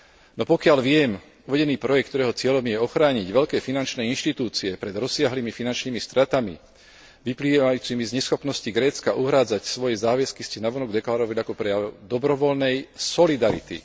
No pokiaľ viem, uvedený projekt, ktorého cieľom je ochrániť veľké finančné inštitúcie pred rozsiahlymi finančnými stratami vyplývajúcimi z neschopnosti Grécka uhrádzať svoje záväzky, ste navonok deklarovali ako prejav dobrovoľnej solidarity.